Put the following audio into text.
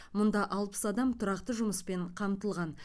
мұнда алпыс адам тұрақты жұмыспен қамтылған